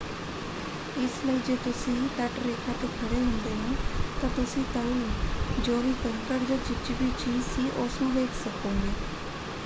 ਇਸ ਲਈ ਜੇ ਤੁਸੀਂ ਤੱਟਰੇਖਾ ਤੇ ਖੜੇ ਹੁੰਦੇ ਹੋ ਤਾਂ ਤੁਸੀਂ ਤਲ ਜੋ ਵੀ ਕੰਕੜ ਜਾਂ ਚਿਪਚਿਪੀ ਚੀਜ਼ ਸੀ ਉਸ ਨੂੰ ਵੇਖ ਸਕੋਗੇ।